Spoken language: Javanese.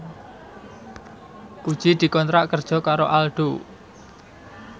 Puji dikontrak kerja karo Aldo